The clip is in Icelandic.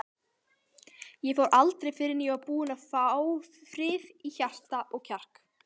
Ég fór aldrei fyrr en ég var búinn að fá frið í hjarta og kjark.